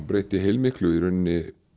breytti heilmiklu fyrir mig